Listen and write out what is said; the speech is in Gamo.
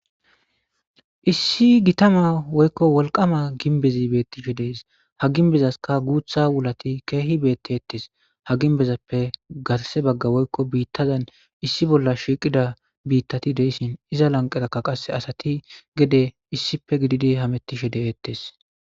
Issi gittama woykko wolqqama ginbezi beettishe dees ha ginbezaska guuththa wulati keehi beetteettes ha ginbezappe garse bagga woykko biittazan issi bolla shiiqida biittati de'ishshin iza lanqerakka qase asati gede issippe gididi hamettishe de'eettes